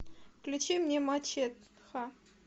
включи мне мачеха